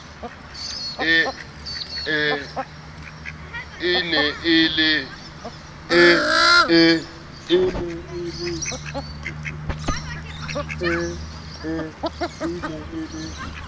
ee e ne e le